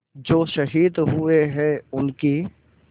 जो शहीद हुए हैं उनकी